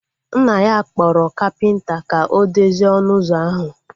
Nna ya kpọrọ kapịnta ka o dozie ọnụ ụzọ ahu